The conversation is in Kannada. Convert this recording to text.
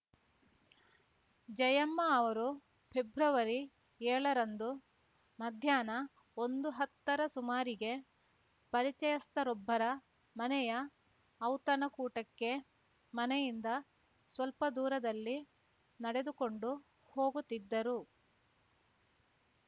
ಜಯಮ್ಮ ಅವರು ಫೆಬ್ರವರಿಏಳ ರಂದು ಮಧ್ಯಾಹ್ನ ಒಂದುಹತ್ತರ ಸುಮಾರಿಗೆ ಪರಿಚಯಸ್ಥರೊಬ್ಬರ ಮನೆಯ ಔತಣ ಕೂಟಕ್ಕೆ ಮನೆಯಿಂದ ಸ್ವಲ್ಪ ದೂರದಲ್ಲಿ ನಡೆದುಕೊಂಡು ಹೋಗುತ್ತಿದ್ದರು